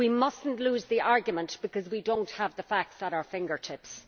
We must not lose the argument because we do not have the facts at our fingertips.